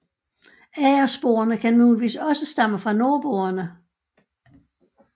Agersporene kan muligvis også stamme fra nordboerne